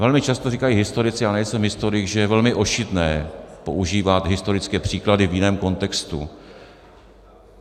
Velmi často říkají historici - já nejsem historik - že je velmi ošidné používat historické příklady v jiném kontextu.